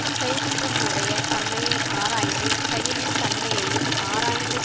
செய்கின்றவனுடைய தன்மையை ஆராய்ந்து செயலின் தன்மையையும் ஆராய்ந்து